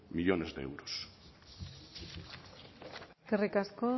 millónes de euros eskerrik asko